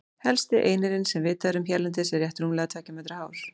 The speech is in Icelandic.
Hæsti einirinn sem vitað er um hérlendis er rétt rúmlega tveggja metra hár.